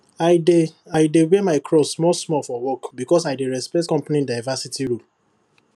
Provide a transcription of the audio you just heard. i dey i dey wear my cross small small for work because i dey respect the company diversity rule